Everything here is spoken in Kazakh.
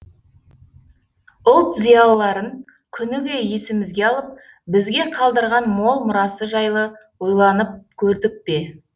ұлт зиялыларын күніге есімізге алып бізге қалдырған мол мұрасы жайлы ойланып көрдік пе